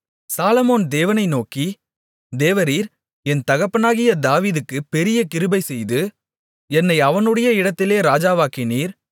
சாலொமோன் தேவனை நோக்கி தேவரீர் என் தகப்பனாகிய தாவீதுக்குப் பெரிய கிருபை செய்து என்னை அவனுடைய இடத்திலே ராஜாவாக்கினீர்